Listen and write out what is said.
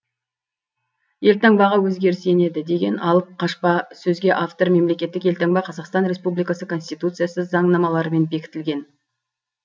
елтаңбаға өзгеріс енеді деген алып қашпа сөзге автор мемлекеттік елтаңба қазақстан республикасы конституциясы заңнамаларымен бекітілген